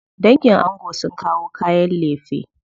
Dangin ango sun kawo kayan lefe.